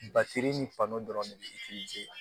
Bafiri ni dɔrɔn de be la